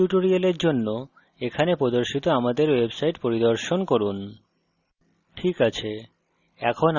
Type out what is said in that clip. না হলে প্রাসঙ্গিক tutorials জন্য এখানে প্রদর্শিত আমাদের website পরিদর্শন করুন